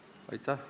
Aitäh!